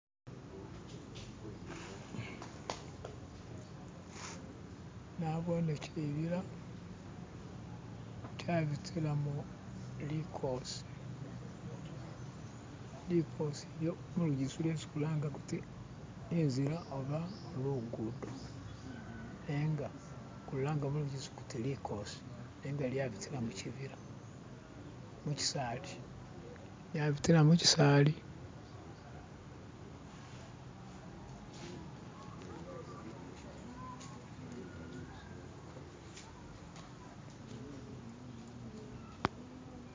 Nabone shibila shabitilamo likoosi, likoosi lyo mulugisu kyesi kulanga kuti inzila oba lugudo nenga kulilanga mulugisu kuti likoosi nenga lyabitila mu shibila mu shisaali, lyabitila mu shisaali